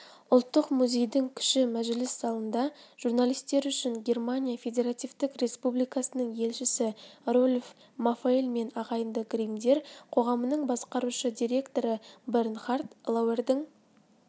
ұлттық музейдің кіші мәжіліс залында журналистер үшін германия федеративтік республикасының елшісі рольф мафаэль мен ағайынды гриммдер қоғамының басқарушы директоры бернхард лауэрдің